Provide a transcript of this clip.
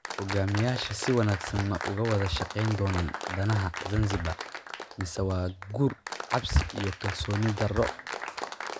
Hogaamiyayaasha si wanaagsan ma uga wada shaqayn doonaan danaha Zanzibar, mise waa guur cabsi iyo kalsooni darro?